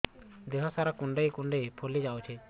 ଦେହ ସାରା କୁଣ୍ଡାଇ କୁଣ୍ଡାଇ ଫଳି ଯାଉଛି